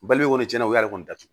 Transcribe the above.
Baliku tiɲɛna u y'ale kɔni datugu